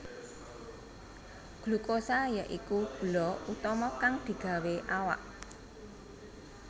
Glukosa ya iku gula utama kang digawé awak